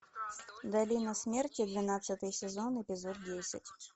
долина смерти двенадцатый сезон эпизод десять